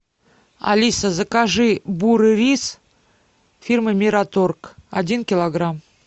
алиса закажи бурый рис фирмы мираторг один килограмм